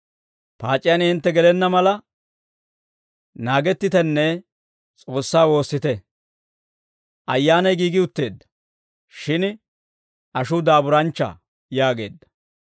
Paac'iyaan hintte gelenna mala, naagettitenne S'oossaa woossite; ayyaanay giigi utteedda; shin ashuu daaburanchcha» yaageedda.